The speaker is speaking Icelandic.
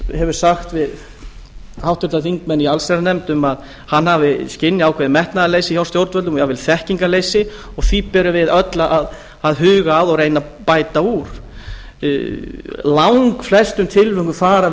hefur sagt við háttvirtir þingmenn í allsherjarnefnd að hann hafi skynjað ákveðið metnaðarleysi hjá stjórnvöldum og jafnvel þekkingarleysi og því ber okkur öllum að huga að og reyna að bæta úr í langflestum tilvikum fara